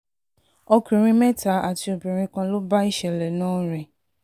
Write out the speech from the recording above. ọkùnrin ọkùnrin mẹ́ta àti obìnrin kan ló bá ìṣẹ̀lẹ̀ náà rìn